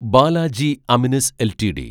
Balaji Amines LTD